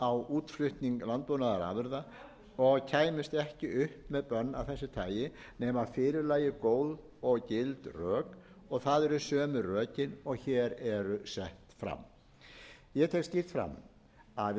á útflutning landbúnaðarafurða og kæmust ekki upp með bönn af þessu tagi nema að fyrir lægju góð og gild rök og það eru sömu rökin og hér eru sett fram ég tek skýrt fram að